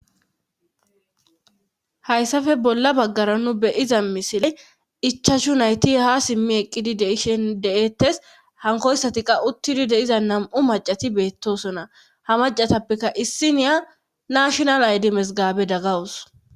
Hayssafe bolla baggara nu beyiza misile ichashu nayti ha simmi eqqidi deishen deettes hankoyssati qawuttidi deiza nam7u macati beettosona ha macatappeka issi niya nashonal aydi mesgaabe daggawus